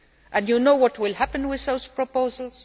And do you know what will happen with those proposals?